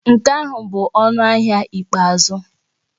Nke ahụ bụ ọnụ ahịa ikpeazụ